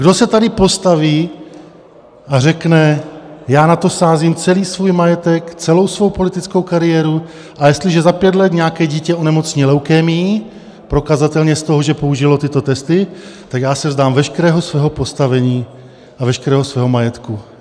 Kdo se tady postaví a řekne: Já na to sázím celý svůj majetek, celou svou politickou kariéru, a jestliže za pět let nějaké dítě onemocní leukémií prokazatelně z toho, že použilo tyto testy, tak já se vzdám veškerého svého postavení a veškerého svého majetku?